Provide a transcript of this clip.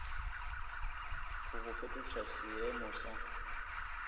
go go fetoša seeemo sa